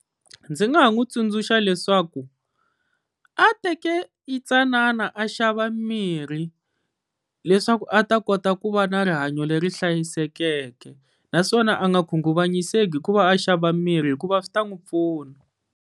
Ndzi nga ha n'wi tsundzuxa leswaku a teke yitsanana a xava mirhi, leswaku a ta kota ku va na rihanyo leri hlayisekeke naswona a nga khunguvanyise hikuva a xava mirhi hikuva swi ta n'wi pfuna.